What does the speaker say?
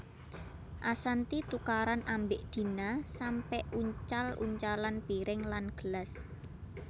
Ashanty tukaran ambek Dina sampe uncal uncalan piring lan gelas